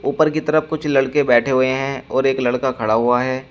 ऊपर की तरफ कुछ लड़के बैठे हुए हैं और एक लड़का खड़ा हुआ है।